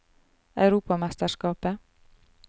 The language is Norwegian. europamesterskapet